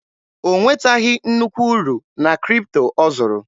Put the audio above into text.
O nwetaghị nnukwu uru na Kripto ọ zụrụ.